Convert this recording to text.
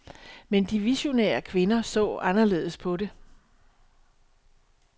Men de visionære kvinder så anderledes på det.